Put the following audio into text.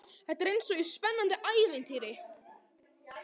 Þetta er eins og í spennandi ævintýri.